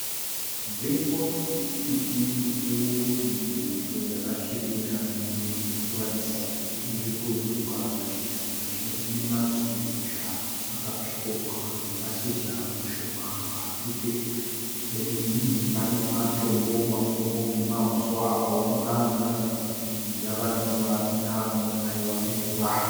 Nzvimbo inemiti mikuru mimwe yacho yakasvibira mimwe irikuratidza kuti irikuzuka mashizha sezvo inemashizha akatsvukuruka nemashizha mashoma pasi pemiti iyi pane matombo makuru nemahuswa akaoma anoratidza kuti avanenguva asina kumbonaiwa nemvura.